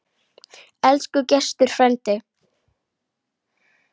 Elsku Gestur frændi.